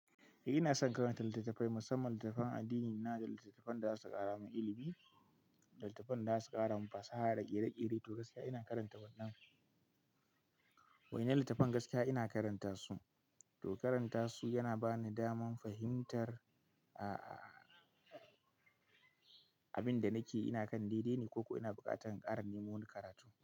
Eh ina son karanta littattafai musamman littattafan addini na da littattafan da za su kara min ilimi da littattafan da za su kara min fasaha da ƙere-ƙere. To gaskiya ina karanta wannan. Wa'innan littattafan gaskiya ina karanta su, to karanta su yana ba ni daman fahimtar a-a abin da nake ina kan daidai ne ko ko ina buƙatar in ƙara neman karatu.